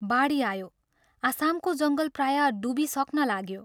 बाढी आयो आसामको जङ्गल प्रायः डुबिसक्न लाग्यो।